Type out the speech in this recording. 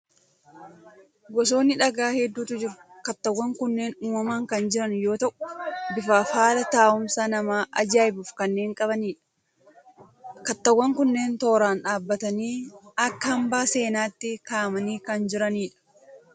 Gosoonni dhagaa hedduutu jiru. Kattaawwan kunneen uumamaan kan jiran yoo ta'u, bifaa fi haala taa'umsa nama ajaa'ibuu kanneen qabanidha. Kattaawwan kunneen tooraan dhaabbatanii akka hambaa seenaatti kaa'amanii kan jirani dha.